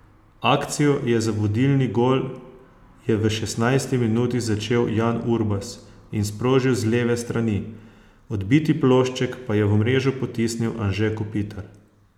Akcijo je za vodilni gol je v šestnajsti minuti začel Jan Urbas in sprožil z leve strani, odbiti plošček pa je v mrežo potisnil Anže Kopitar.